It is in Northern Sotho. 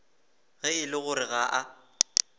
ge e le gore ga